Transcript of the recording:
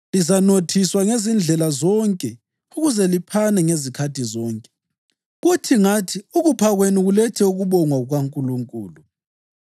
Lizanothiswa ngezindlela zonke ukuze liphane ngezikhathi zonke, kuthi ngathi ukupha kwenu kulethe ukubongwa kukaNkulunkulu.